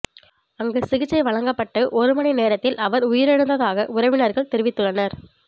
அங்கு சிகிச்சை வழங்கப்பட்டு ஒரு மணி நேரத்தில் அவர் உயிரிழந்ததாக உறவினர்கள் தெரிவித்துள்ளனர்